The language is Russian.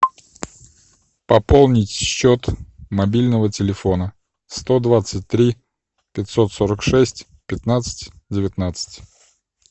пополнить счет мобильного телефона сто двадцать три пятьсот сорок шесть пятнадцать девятнадцать